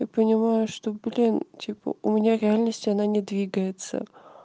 я понимаю что блин типа у меня в реальности она не двигается